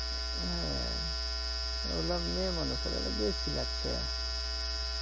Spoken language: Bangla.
হ্যা এগুলা মেয়ে মানুষের আরো বেশি লাগছে